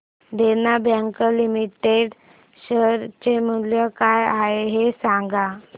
देना bank limited share चे मूल्य काय आहे हे सांगा